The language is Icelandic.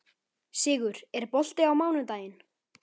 Sigur, er bolti á mánudaginn?